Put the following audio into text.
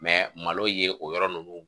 malo ye o yɔrɔ ninnu